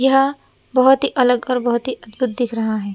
यह बहोत ही अलग और बहोत ही अद्भुत दिख रहा है।